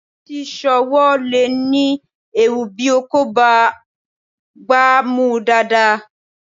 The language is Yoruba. Títí, sọ́ọ̀ ọwọ́ le ní ewu bí o kò bá gbá a mú dáadáa.